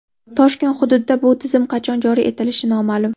Toshkent hududida bu tizim qachon joriy etilishi noma’lum.